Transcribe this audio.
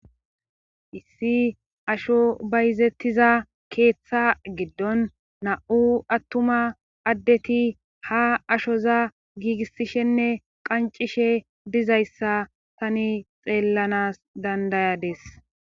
Issi asho bayzettiza keeththa giddon na7u attuma addeti ha ashoza giigissishenne qancishe dizayssa tani xeellanas dandayades.